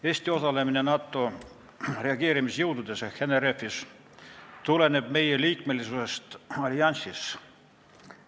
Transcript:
Eesti osalemine NATO reageerimisjõududes ehk NRF-is tuleneb meie liikmesusest alliansis.